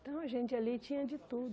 Então, a gente ali tinha de tudo.